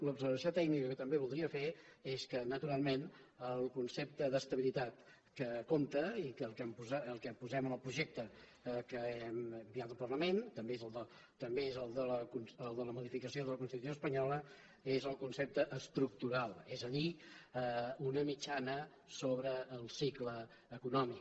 l’observació tècnica que també voldria fer és que naturalment el concepte d’estabilitat que compta i el que posem en el projecte que hem enviat al parlament també és de la modificació de la constitució espanyola és el concepte estructural és a dir una mitjana sobre el cicle econòmic